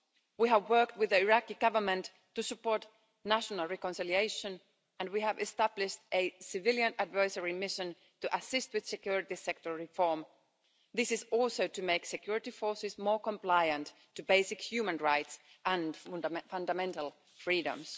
We have worked with the Iraqi Government to support national reconciliation and we have established a civilian advisory mission to assist with security sector reform. This is also to make security forces more compliant with basic human rights and fundamental freedoms.